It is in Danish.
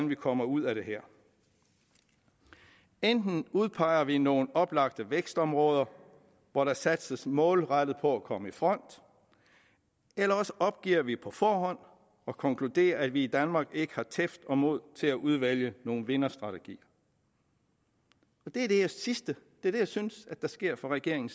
vi kommer ud af det her enten udpeger vi nogle oplagte vækstområder hvor der satses målrettet på at komme i front eller også opgiver vi på forhånd og konkluderer at vi i danmark ikke har tæft for og mod til at udvælge nogle vinderstrategier det sidste er det jeg synes sker for regeringen